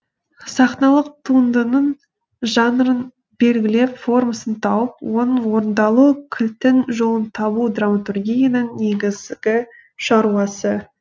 сахналық туындының жанрын белгілеп формасын тауып оның орындалу кілтін жолын табу драматургияның негізгі шаруасы